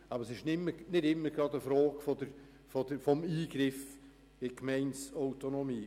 Es ist nicht immer gleich eine Frage des Eingriffs in die Gemeindeautonomie.